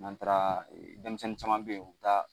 N'an taara denmisɛnnin caman bɛ ye u bi taa